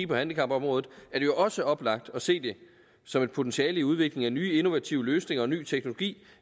på handicapområdet jo også er oplagt at se det som et potentiale i udviklingen af nye innovative løsninger og ny teknologi